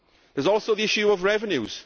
There is also the issue of revenues.